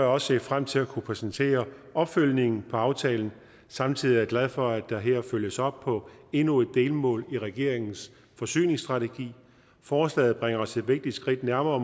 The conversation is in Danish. også set frem til at kunne præsentere opfølgningen på aftalen samtidig er jeg glad for at der her følges op på endnu et delmål i regeringens forsyningsstrategi forslaget bringer os et vigtigt skridt nærmere